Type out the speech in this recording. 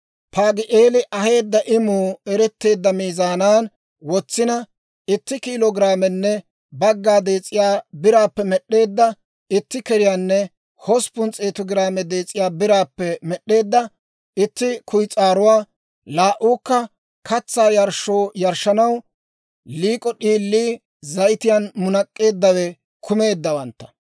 Paagi'eeli aheedda imuu eretteedda miizaanan wotsina, itti kiilo giraamenne bagga dees'iyaa biraappe med'd'eedda itti keriyaanne hosppun s'eetu giraame dees'iyaa biraappe med'd'eedda itti kuyis'aaruwaa, laa"uukka katsaa yarshshoo yarshshanaw liik'o d'iilii, zayitiyaan munak'k'eeddawe kumeeddawantta;